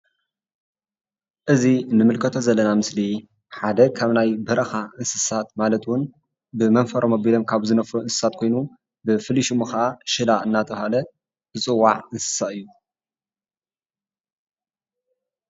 እዚ እንምልከቶ ዘለና ምስሊ ሓደ ካብ ናይ በረኻ እንስሳት ማለት እውን ብመንፈሮም ኣቢሎም ካብ ዝነፍሩ እንስሳት ኮይኑ ብፍሉይ ሽሙ ከኣ ሽላ እንዳተባህለ ዝፅዋዕ እንስሳ እዩ፡፡